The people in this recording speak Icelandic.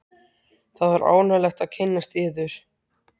Það var ánægjulegt að kynnast yður.